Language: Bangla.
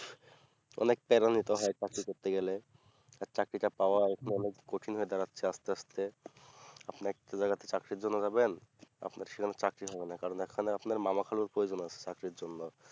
অনেক নিতে হয় চাকরি নিতে গেলে আর চাকরিটা পাওয়া এখন অনেক কঠিন হয়ে দাঁড়াচ্ছে আস্তে আস্তে আপনার চাকরি জন্য যাবেন আপনার সেখানে চাকরি হবে না কারণ এখানে আপনার মামা খালুর প্ৰয়োজন আছে চাকরির জন্য